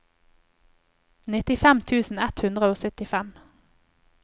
nittifem tusen ett hundre og syttifem